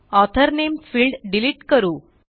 author नामे field delete करू